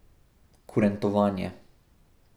Kurentovanje.